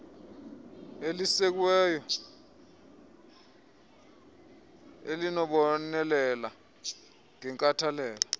elisekiweyo elibonelela ngenkathalelo